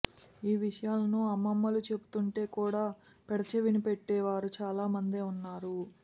ఈ విషయాలను అమ్మమ్మలు చెబుతుంటే కూడా పెడచెవిన పెట్టే వారు చాలా మందే ఉన్నారు